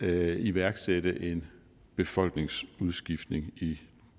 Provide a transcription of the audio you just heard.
at iværksætte en befolkningsudskiftning i